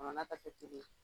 a na ka